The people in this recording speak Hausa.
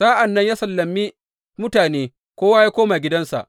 Sa’an nan ya sallame mutane, kowa ya koma gidansa.